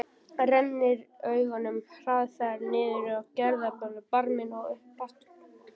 Rennir augunum hraðferð niður á gerðarlegan barminn og upp aftur.